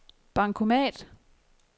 bankomat